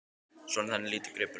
Svo þannig lítur þá gripurinn út!